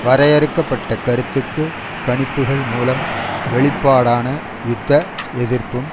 வரையறுக்க பட்ட கருத்துக்கு கணிப்புக்கள் மூலம் வெளிப்பாடான யுத்த எதிர்ப்பும்